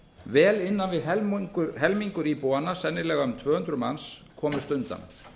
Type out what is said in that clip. vel innan við helmingur íbúanna sennilega um tvö hundruð manns komust undan